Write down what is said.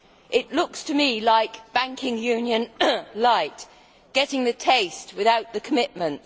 It looks to me like banking union lite' getting the taste without the commitment.